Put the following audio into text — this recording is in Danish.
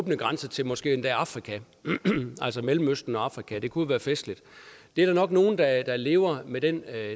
åbne grænser til måske endda afrika altså mellemøsten og afrika det kunne jo være festligt der er nok nogle der lever med den